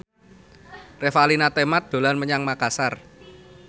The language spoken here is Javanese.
Revalina Temat dolan menyang Makasar